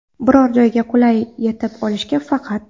Biror joyga qulay yetib olishga faqat.